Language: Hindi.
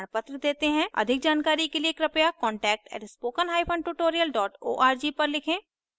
अधिक जानकारी के लिए कृपया contact @spokentutorial org पर लिखें